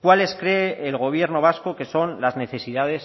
cuáles cree el gobierno vasco que son las necesidades